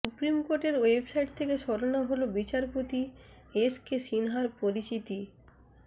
supreme কোর্টের website থেকে সরানো হলো বিচারপতি এস কে সিনহার পরিচিতি